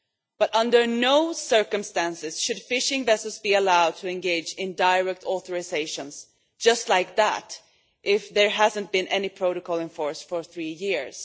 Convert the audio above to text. But under no circumstances should fishing vessels be allowed to engage in direct authorisations, just like that, if there has not been any protocol in force for three years.